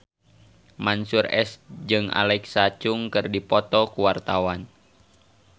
Mansyur S jeung Alexa Chung keur dipoto ku wartawan